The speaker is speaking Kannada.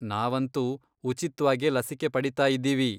ನಾವಂತೂ ಉಚಿತ್ವಾಗೇ ಲಸಿಕೆ ಪಡೀತಾಯಿದ್ದೀವಿ.